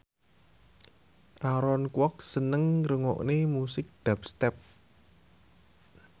Aaron Kwok seneng ngrungokne musik dubstep